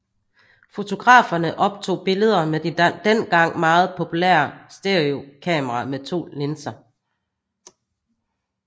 Fotograferne optog billeder med de dengang meget populære stereokameraer med to linser